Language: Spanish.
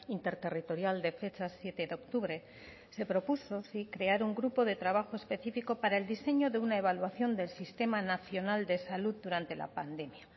interterritorial de fecha siete de octubre se propuso sí crear un grupo de trabajo específico para el diseño de una evaluación del sistema nacional de salud durante la pandemia